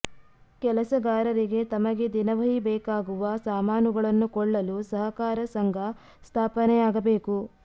ಕೆಲಸಗಾರರಿಗೆ ತಮಗೆ ದಿನವಹಿ ಬೇಕಾಗುವ ಸಾಮಾನುಗಳನ್ನು ಕೊಳ್ಳಲು ಸಹಕಾರ ಸಂಘ ಸ್ಥಾಪನೆಯಾಗಬೇಕು